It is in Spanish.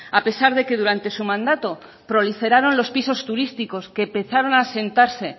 a pesar de que durante su mandato proliferaron los pisos turísticos que empezaron a asentarse